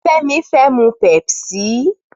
Femi fè mú pèpsí